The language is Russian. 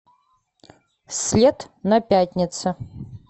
след на пятнице